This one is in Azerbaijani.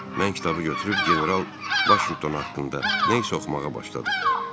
Mən kitabı götürüb General Vaşinqton haqqında nə isə oxumağa başladım.